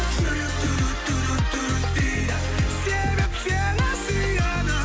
жүрек дейді себеп сені сүйеді